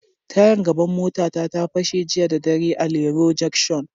Tayar gaban mota ta, ta fashe jiya da dare a Lero jancshon.